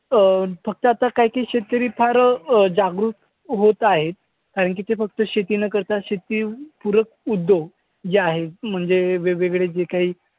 अं फक्त आता काही काही शेतकरी फार अं जागरूक होत आहेत. कारण की ते फक्त शेती न करता शेतीपूरक उद्योग जे आहेत म्हणजे वेगवेगळे जे काही